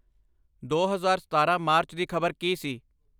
ਦੋ ਹਜ਼ਾਰ ਸਤਾਰ੍ਹਾ ਮਾਰਚ ਦੀ ਖ਼ਬਰ ਕੀ ਸੀ